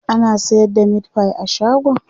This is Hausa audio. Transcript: ana sayar da meatfie a shagon?